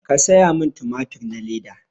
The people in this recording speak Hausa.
Ka saya min tumatur na leda